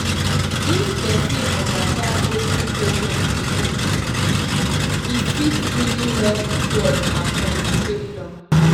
if person understand wetin patient believe e fit really help trust and communication